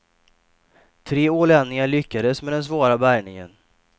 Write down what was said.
Tre ålänningar lyckades med den svåra bärgningen.